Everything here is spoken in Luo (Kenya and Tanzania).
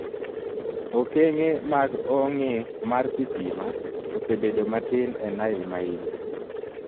Okeng'e mag ong'e mar sitima osebedo matin e Nile ma Imbo.